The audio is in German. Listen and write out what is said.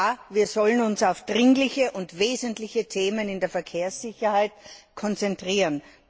Ja, wir sollen uns auf dringliche und wesentliche Themen in der Verkehrssicherheit konzentrieren.